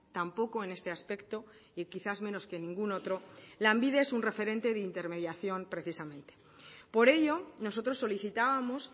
tampoco en este aspecto y quizás menos que en ningún otro lanbide es un referente de intermediación precisamente por ello nosotros solicitábamos